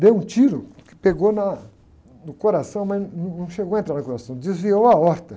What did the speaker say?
Deu um tiro que pegou na, no coração, mas não chegou a entrar no coração, desviou a aorta.